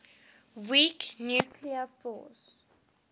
weak nuclear force